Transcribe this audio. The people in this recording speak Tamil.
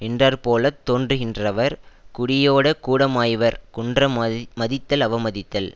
நின்றாற்போலத் தோன்றுகின்றவர் குடியோட கூடமாய்வர் குன்ற மதித்தல் அவமதித்தல்